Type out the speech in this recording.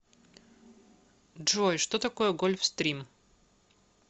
джой что такое гольфстрим